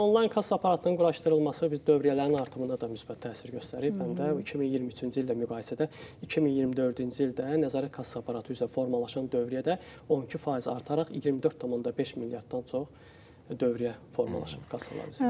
Yəni bu onlayn kassa aparatlarının quraşdırılması dövriyyələrin artımına da müsbət təsir göstərir, Məndə 2023-cü ildə müqayisədə 2024-cü ildə nəzarət kassa aparatı üzrə formalaşan dövriyyə də 12% artaraq 24.5 milyarddan çox dövriyyə formalaşıb kassalar üzrə.